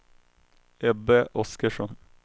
Ebbe Oskarsson